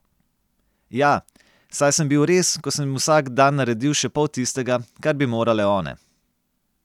Ja, saj sem bil res, ko sem vsak dan naredil še pol tistega, kar bi morale one.